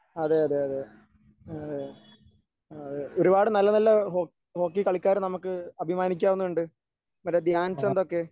അതെ അതെ അതെ ആഹ് അതെ ഒരുപാട് നല്ല നല്ല ഹോ ഹോക്കി കളിക്കാര് നമുക്ക് അഭിമാനിക്കാവുന്നതുണ്ട് മറ്റേ ധ്യാൻചന്ദ് ഒക്കെ